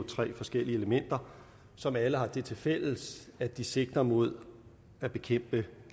tre forskellige elementer som alle har det tilfælles at de sigter mod at bekæmpe